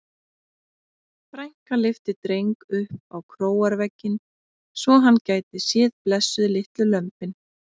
Frænka lyfti Dreng upp á króarvegginn svo hann gæti séð blessuð litlu lömbin.